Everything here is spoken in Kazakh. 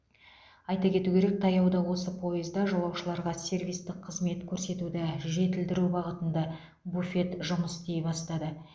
айта кету керек таяуда осы пойызда жолаушыларға сервистік қызмет көрсетуді жетілдіру бағытында буфет жұмыс істей бастады